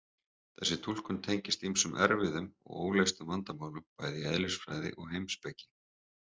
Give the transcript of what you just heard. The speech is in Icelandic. Þessi túlkun tengist ýmsum erfiðum og óleystum vandamálum bæði í eðlisfræði og heimspeki.